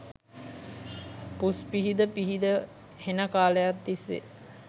පුස් පිහිද පිහිද හෙන කාලයක් තිස්සේ